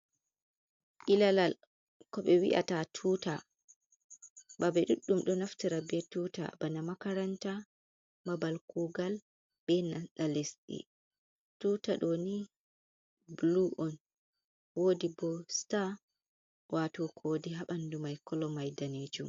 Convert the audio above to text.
Ilalal ko ɓe wi'ata tuuta. Babe ɗuɗɗum ɗo naftira be tuuta. Bana makaranta, babal kugal be nanta lesɗe. Tuuta ɗo ni blu on, woodi bo sta, waato kowode haa ɓandu mai. Kolo mai daneejum.